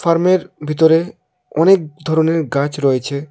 ফার্মের ভিতরে অনেক ধরনের গাচ রয়েচে।